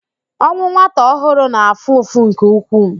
Ọnwụ nwata ọhụrụ na-afụ ụfụ nke ukwuu